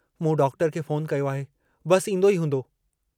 मूं डॉक्टर खे फोन कयो आहे, बस ईन्दो ई हूंदो।